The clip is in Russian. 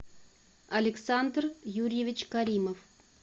александр юрьевич каримов